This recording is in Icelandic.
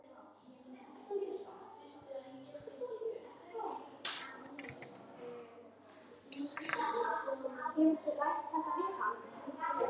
Já, en með kómísku ívafi.